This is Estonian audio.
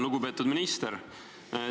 Lugupeetud minister!